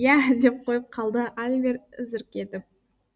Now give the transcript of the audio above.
иә деп қойып қалды альбер зірк етіп